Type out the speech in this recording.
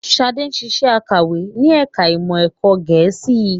Ṣadé ń ṣiṣẹ́ akọ̀wé ní ẹ̀ka ìmọ̀ ẹ̀kọ́ Gẹ̀ẹ́sì